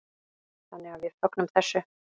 Þannig að við fögnum þessu.